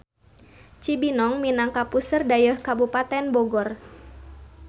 Cibinong minangka puseur dayeuh Kabupaten Bogor.